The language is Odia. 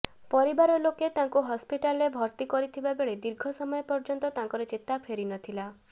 ପରିବାର ଲୋକେ ତାଙ୍କୁ ହସ୍ପିଟାଲ୍ରେ ଭର୍ତ୍ତି କରିଥିବାବେଳେ ଦୀର୍ଘ ସମୟ ପର୍ଯ୍ୟନ୍ତ ତାଙ୍କର ଚେତା ଫେରିନଥିଲା